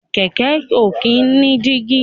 Kẹ̀kẹ́ ò kìí ní dígí.